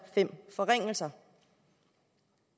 fem forringelser